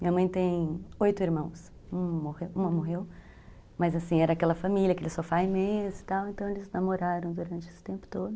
Minha mãe tem oito irmãos, uma morreu, mas assim, era aquela família, aquele sofá e mesa e tal, então eles namoraram durante esse tempo todo.